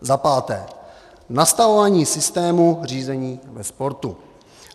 Za páté, nastavování systému řízení ve sportu.